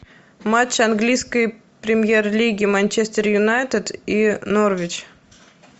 матч английской премьер лиги манчестер юнайтед и норвич